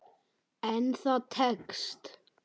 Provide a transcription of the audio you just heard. En það tekst.